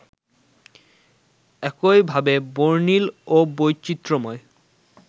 একইভাবে বর্ণিল ও বৈচিত্র্যময়